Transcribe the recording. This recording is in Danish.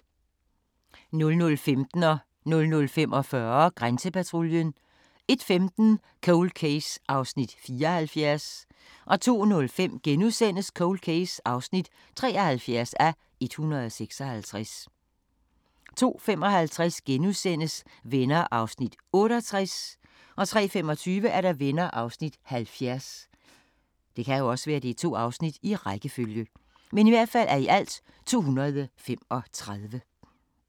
00:15: Grænsepatruljen 00:45: Grænsepatruljen 01:15: Cold Case (74:156) 02:05: Cold Case (73:156)* 02:55: Venner (68:235)* 03:25: Venner (70:235)